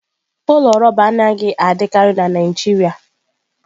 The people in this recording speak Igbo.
Ụlọ rọba anaghị adịkarị na Naijiria